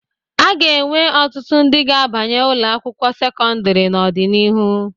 A ga-enwe ọtụtụ ndị ga-abanye ụlọ akwụkwọ sekọndịrị n'ọdịnihu.